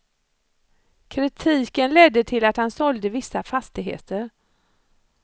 Kritiken ledde till att han sålde vissa fastigheter.